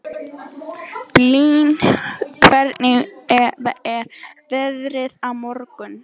Blín, hvernig er veðrið á morgun?